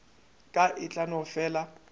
ka e tla no fela